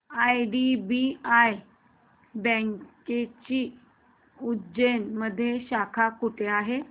IDBI बँकेची उज्जैन मध्ये शाखा कुठे आहे